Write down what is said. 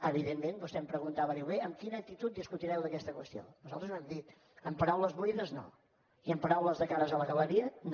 evidentment vostè em preguntava diu bé amb quina actitud discutireu d’aquesta qüestió nosaltres ho hem dit amb paraules buides no i amb paraules de cares a la galeria no